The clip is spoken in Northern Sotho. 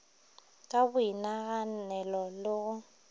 ka go boinaganelo le go